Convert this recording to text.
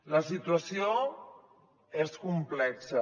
la situació és complexa